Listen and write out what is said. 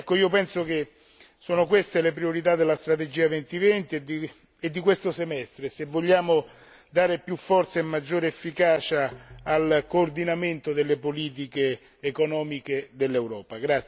Io penso che siano queste le priorità della strategia 2020 e di questo Semestre, se vogliamo dare più forza e maggiore efficacia al coordinamento delle politiche economiche dell'Europa.